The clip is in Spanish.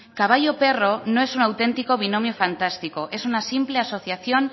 caballo perro no es un auténtico binomio fantástico es una simple asociación